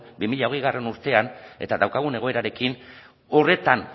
bi mila hogeigarrena urtean eta daukagun egoerarekin horretan